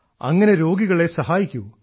അങ്ങനെ രോഗികളെ സഹായിക്കൂ